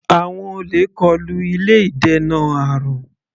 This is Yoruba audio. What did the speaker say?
Àwọn olè kọlu ilé ìdènà àrùn.